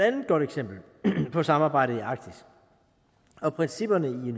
andet godt eksempel på samarbejde i arktis og principperne